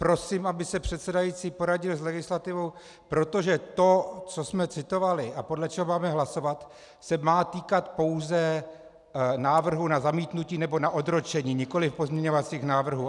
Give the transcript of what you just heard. Prosím, aby se předsedající poradil s legislativou, protože to, co jsme citovali a podle čeho máme hlasovat, se má týkat pouze návrhu na zamítnutí nebo na odročení, nikoliv pozměňovacích návrhů.